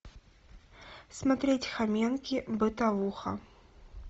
смотреть хоменки бытовуха